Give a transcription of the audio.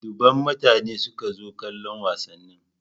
Dubban mutane ne suka zo kallon wasannin.